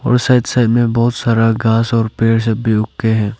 और side side में बहुत सारा घास और पेड़ सब भी उग के हैं।